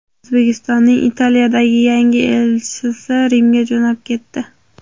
O‘zbekistonning Italiyadagi yangi elchisi Rimga jo‘nab ketdi.